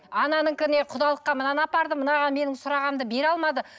ананікіне құдалыққа мынаны апардым мынаған менің сұрағанымды бере алмады